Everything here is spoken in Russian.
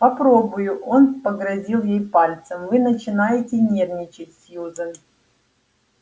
попробую он погрозил ей пальцем вы начинаете нервничать сьюзен